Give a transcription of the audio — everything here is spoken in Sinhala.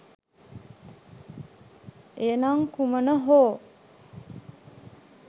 එය නම් කුමන හෝ